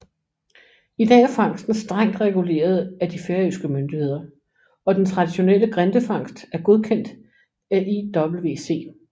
I dag er fangsten strengt reguleret af de færøske myndigheder og det traditionelle grindefangst er godkendt af IWC